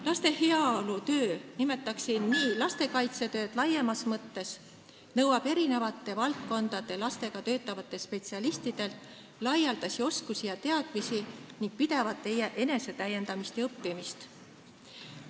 Laste heaolutöö – nimetaksin nii lastekaitsetööd laiemas mõttes – nõuab eri valdkondade lastega töötavatelt spetsialistidelt laialdasi oskusi ja teadmisi ning pidevat enesetäiendamist ja õppimist.